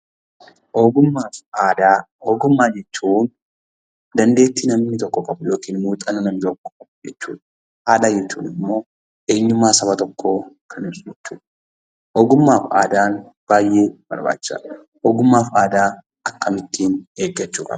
Ogummaa fi aadaa. Ogummaa jechuun dandeetti namni tokko qabu, muuxannoo namni tokko qabu jechuu dha. Aadaa jechuun immoo eenyummaa Saba tokkoo kan ibsu jechuu dha. Ogummaa fi aadaan baayyee barbaachisaa dha. Ogummaa fi aadaa akkamiin eeggachuu qabna?